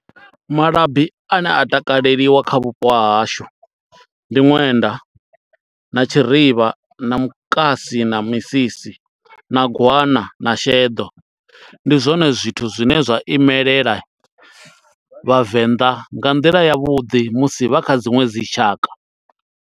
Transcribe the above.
Malabi ane a takaleliwa kha vhupo ha hashu, ndi ṅwenda, na tshirivha, na mukasi, na misisi, na gwana, na sheḓo. Ndi zwone zwithu zwine zwa imelela Vhavenḓa nga nḓila ya vhuḓi, musi vha kha dziṅwe dzi tshaka.